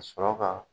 Ka sɔrɔ ka